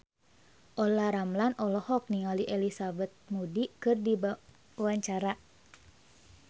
Olla Ramlan olohok ningali Elizabeth Moody keur diwawancara